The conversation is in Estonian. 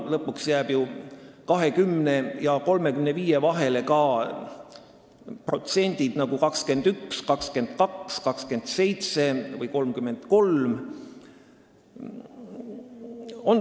Lõpuks jäävad ju 20% ja 35% vahele ka näiteks 21%, 22%, 27% või 33%.